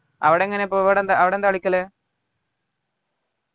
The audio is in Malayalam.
അവിടെങ്ങനെ പ്പോ അവിടെ അവിടെന്താ കളിക്കല്